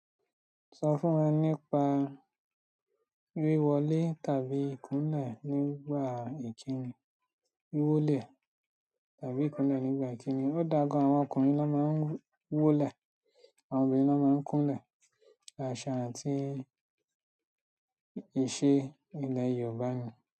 Sọ fún wọn nípa wíwọlé tàbí kúnlẹ̀ nígbà ìkíni. Wíwólẹ̀ tàbí ìkúnlẹ̀ nígbà ìkíni. Ó dáa gan, àwọn ọkùnrin ló máa ń wólẹ̀, àwọn obìnrin ló máa ń kúnlẹ̀. Àṣà àti ìṣe ilẹ̀ Yorùbá ni.